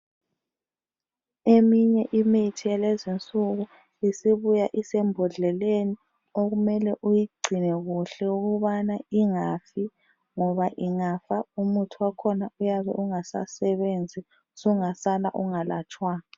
Eminye imithi yalezinsuku isibuya isembodleleni okumele uyigcine kuhle ukubana ingafi ngoba ingafa umuthi wakhona uyabe ungasasebenzi sungasala ungalatshwanga.